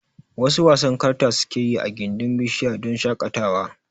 Wasu wasan karta sukeyi I gindin bishara don shaƙatawa